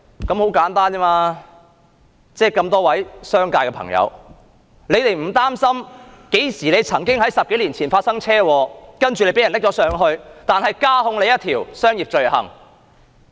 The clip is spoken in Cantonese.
難道商界的朋友不擔心會因為10多年前的車禍被大陸捉拿，然後再被加控一項商業罪行？